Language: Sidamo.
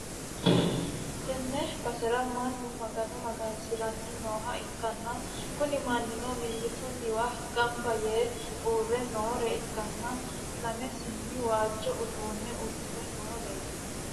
tenne basera mannu magano magansi'ranni nooha ikkanna, kuni mannino mimmitunniwa gamba yee uurre noore ikkanna, lame seenni waajjo uddano uddi're nooreeti.